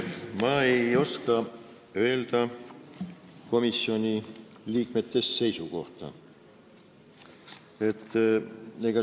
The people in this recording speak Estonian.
Ma ei oska öelda komisjoni liikmete seisukohta.